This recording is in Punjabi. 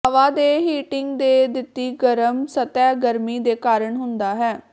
ਹਵਾ ਦੇ ਹੀਟਿੰਗ ਦੇ ਦਿੱਤੀ ਗਰਮ ਸਤਹ ਗਰਮੀ ਦੇ ਕਾਰਨ ਹੁੰਦਾ ਹੈ